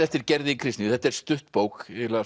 eftir Gerði Kristnýju þetta er stutt bók eiginlega